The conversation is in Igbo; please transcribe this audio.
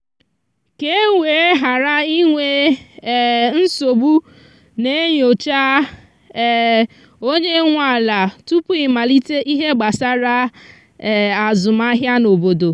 ka e were ghara inwe um nsogbu na e nyocha um onye nwe ala tupu i malite ihe gbasara um azụmahịa n’obodo